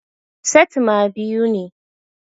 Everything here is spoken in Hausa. Setimer biyu ne